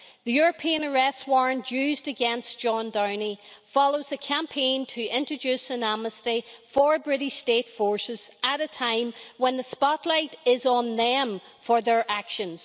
The European arrest warrant used against John Downey follows a campaign to introduce an amnesty for British state forces at a time when the spotlight is on them for their actions.